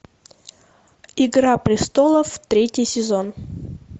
игра престолов третий сезон